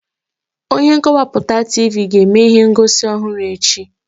Onye nkọwapụta Tivii ga-eme ihe ngosi ọhụrụ echi.